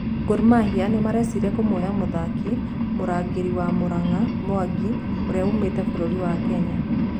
Gor Mahia nĩmareciria kũmuoya mũthaki mũrangĩri wa Muranga Mwangi ũrĩa wumĩte burũri wa Kenya.